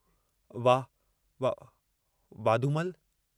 वा.... वा.... वाधूमल....